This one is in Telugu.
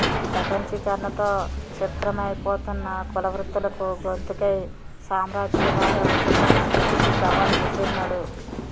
ప్రపంచీకరణతో ఛిద్రమైపోతున్న కుల వృత్తులకు గొంతుకై సామ్రాజ్య వాద విష సంస్కృతికి సవాల్ విసిరినడు